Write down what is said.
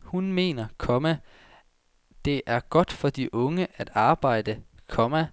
Hun mener, komma det er godt for de unge at arbejde, komma